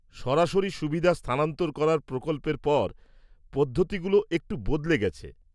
সরাসরি সুবিধা স্থানান্তর করার প্রকল্পের পর, পদ্ধতিগুলো একটু বদলে গেছে।